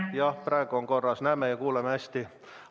Jah, praegu on korras, me näeme ja kuuleme teid hästi.